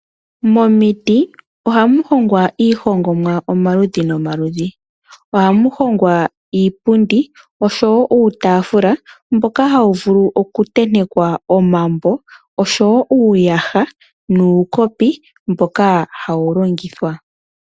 Momiti ohamu hongwa iihongomwa omaludhi nomaludhi. Ohamu hongwa iipundi nosho wo uutafula mboka hawu vulu oku tentekwa omambo, nosho wo uuyaha nuukopi mboka hawu longithwa. .